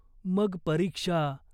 मग परीक्षा.